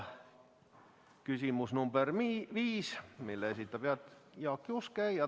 Küsimus number 5, mille esitab Jaak Juske.